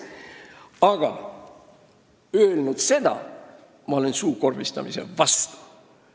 Seda öelnuna ma olen suukorvistamise vastu.